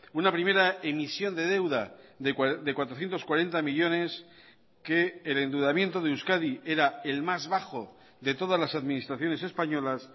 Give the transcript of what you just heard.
una primera emisión de deuda de cuatrocientos cuarenta millónes que el endeudamiento de euskadi era el más bajo de todas las administraciones españolas